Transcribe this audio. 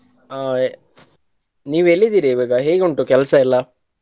ಹಾ ನೀವು ಎಲ್ಲಿದಿರಿ ಇವಾಗಾ ಹೇಗುಂಟು ಕೆಲಸ ಎಲ್ಲಾ?